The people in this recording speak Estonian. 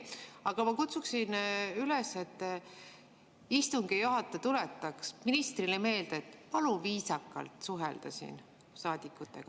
Aga ma kutsuksin üles, et istungi juhataja tuletaks ministrile meelde, et palun viisakalt suhelda saadikutega.